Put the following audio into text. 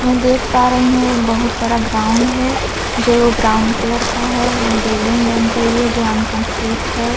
मै देख पा रही हूं एक बहोत बड़ा ग्राउंड है जो ब्राउन कलर का है एक बिल्डिंग बन रही है जो अन्कम्प्लीट है।